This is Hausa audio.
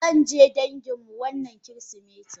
Zanje danginmu wannan kirisimetin.